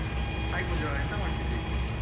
Hai Pooja ಎಂತ ಮಾಡ್ತಾ ಇದ್ದಿ?